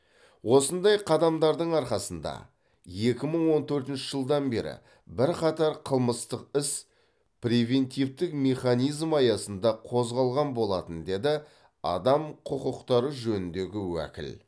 осындай қадамдардың арқасында екі мың он төртінші жылдан бері бірқатар қылмыстық іс превентивтік механизм аясында қозғалған болатын деді адам құқықтары жөніндегі уәкіл